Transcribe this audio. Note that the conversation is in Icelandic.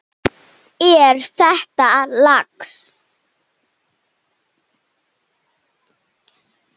Er þetta lax?